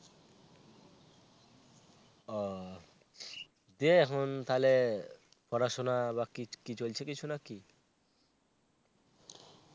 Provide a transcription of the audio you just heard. ও. দিয়ে এখন তাহলে পড়াশোনা বা কি কি চলছে কিছু নাকি?